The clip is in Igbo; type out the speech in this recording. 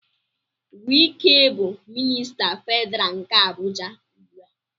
Wike bụ minista Federal nke Abuja ugbu a.